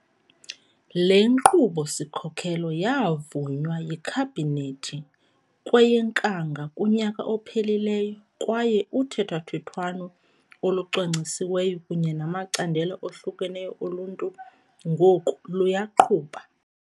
Le Nkqubo-sikhokelo yavunywa yiKhabhinethi kweyeNkanga kunyaka ophelileyo kwaye uthethathethwano olucwangcisiweyo kunye namacandelo ohlukeneyo oluntu ngoku luyaqhuba.